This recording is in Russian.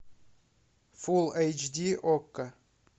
фулл эйч ди окко